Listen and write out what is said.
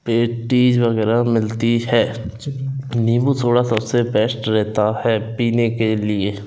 Patties वैगैरा मिलती है नींबू सोडा सबसे बेस्ट रेहता है पीने के लिए।